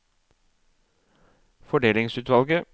fordelingsutvalget